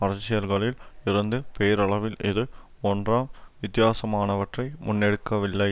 அரசியல்களில் இருந்து பேரளவில் இது ஒன்றாம் வித்தியாசமானவற்றை முன்னெடுக்கவில்லை